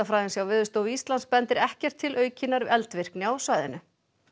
skjálftafræðings hjá Veðurstofu Íslands bendir ekkert til aukinnar eldvirkni á svæðinu